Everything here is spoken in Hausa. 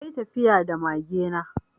Na yi tafiya da mage na.